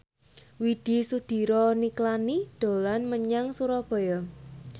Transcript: Widy Soediro Nichlany dolan menyang Surabaya